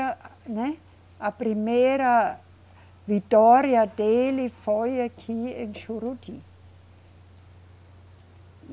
A né, a primeira vitória dele foi aqui, em Juruti.